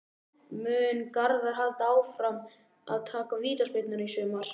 Mun Garðar halda áfram að taka vítaspyrnurnar í sumar?